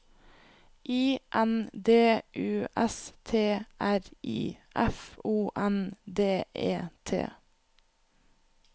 I N D U S T R I F O N D E T